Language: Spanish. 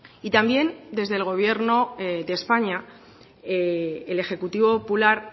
y también desde el gobierno de españa el ejecutivo popular